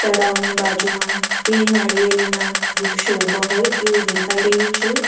તળાવની બાજુમાં બે નાળિયેરીના વૃક્ષો ઉભા હોય એવું દેખાય રહ્યું છે.